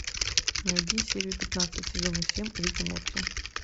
найди серию пятнадцать сезона семь рик и морти